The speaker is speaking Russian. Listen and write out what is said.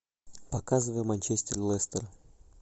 показывай манчестер лестер